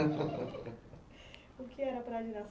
O que era para a